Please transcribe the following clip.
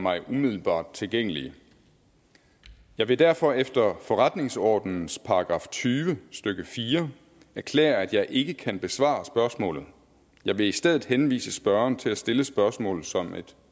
mig umiddelbart tilgængelige jeg vil derfor efter forretningsordenens § tyve stykke fire erklære at jeg ikke kan besvare spørgsmålet jeg vil i stedet henvise spørgeren til at stille spørgsmålet som et